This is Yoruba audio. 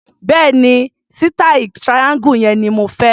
Bẹ́ẹ̀ni, sítàì triangle yẹn ni mo fẹ́.